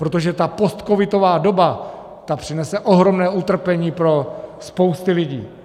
Protože ta postcovidová doba, ta přinese ohromné utrpení pro spousty lidí.